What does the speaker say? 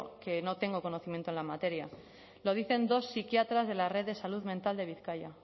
que no tengo conocimiento en la materia lo dicen dos psiquiatras de la red de salud mental de bizkaia